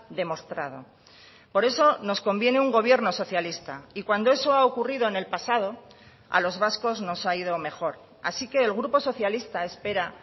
demostrado por eso nos conviene un gobierno socialista y cuando eso ha ocurrido en el pasado a los vascos nos ha ido mejor así que el grupo socialista espera